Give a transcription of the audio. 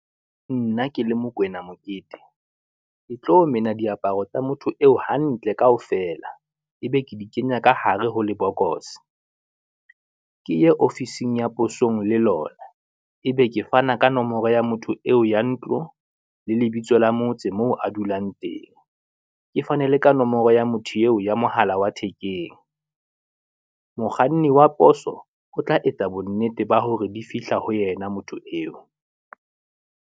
Nna ke le Mokwena Mokete, ke tlo mena diaparo tsa motho eo hantle kaofela. Ebe ke di kenya ka hare ho lebokoso, ke ye ofising ya posong le lona, ebe ke fana ka nomoro ya motho eo ya ntlo, le lebitso la motse moo a dulang teng, ke fane le ka nomoro ya motho eo ya mohala wa thekeng. Mokganni wa poso o tla etsa bonnete ba hore di fihla ho yena motho eo.